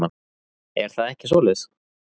Er það ekki svoleiðis?